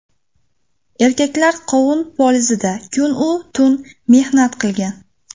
Erkaklar qovun polizida kun-u tun mehnat qilgan.